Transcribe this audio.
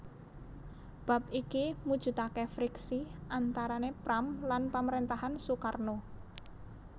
Bab iki mujudaké friksi antarané Pram lan pamaréntahan Soekarno